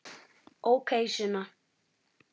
Ókei, Sunna.